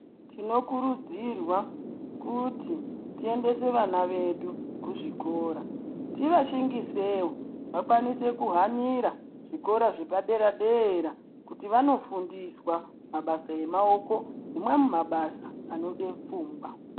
Tinokurudzirwa kuti tiendesa vana vedu kuzvikora tivashingise vakwanise kuhanira zvikora zvepadera-dera, kuti vanofundiswa mabasa emaoko nemamwe mabasa anode pfungwa.